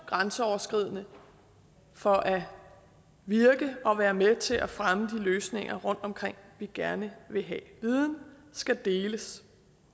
grænseoverskridende for at virke og at være med til at fremme de løsninger rundtomkring vi gerne vil have viden skal deles